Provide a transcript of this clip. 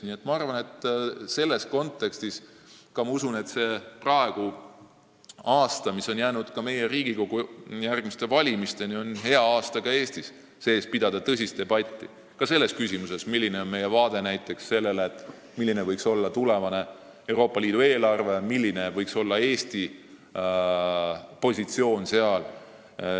Nii et ma usun, et selles kontekstis on praegune aasta, mis on jäänud meie Riigikogu järgmiste valimisteni, hea aasta selleks, et ka Eesti sees pidada tõsist debatti – ka selles küsimuses, milline on meie vaade tulevasele Euroopa Liidu eelarvele ja sealsele Eesti positsioonile.